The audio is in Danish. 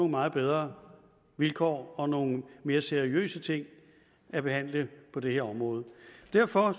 meget bedre vilkår og nogle mere seriøse ting at behandle på det her område derfor